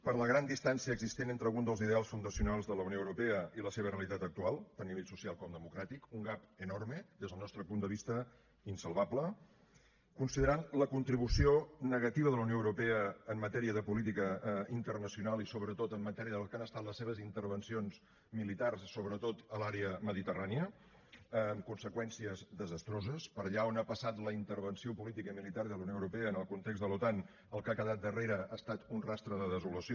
per la gran distància existent entre algun dels ideals fundacionals de la unió europea i la seva realitat actual tant a nivell social com democràtic un gap enorme des del nostre punt de vista insalvable considerant la contribució negativa de la unió europea en matèria de política internacional i sobretot en matèria del que han estat les seves intervencions militars sobretot a l’àrea mediterrània amb conseqüències desastroses per allà on ha passat la intervenció política i militar de la unió europea en el context de l’otan el que ha quedat darrere ha estat un rastre de desolació